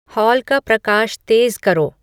hall का प्रकाश तेज़ करो